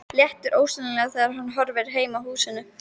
Léttir ólýsanlega þegar hann horfir heim að húsinu.